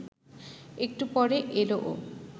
একটু পরে এল ও